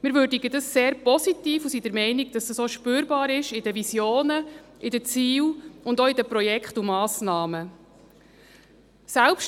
Wir würdigen dies sehr positiv und sind der Meinung, dass dies auch in den Visionen, in den Zielen und auch in den Projekten und Massnahmen spürbar ist.